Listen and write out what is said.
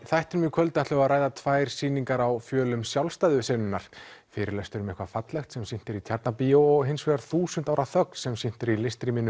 þættinum í kvöld ætlum við að ræða tvær sýningar á fjölum sjálfstæðu fyrirlestur um eitthvað fallegt sem sýnt er í Tjarnarbíó og hins vegar þúsund ára þögn sem sýnt er í